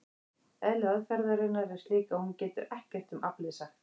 Eðli aðferðarinnar er slíkt að hún getur ekkert um aflið sagt.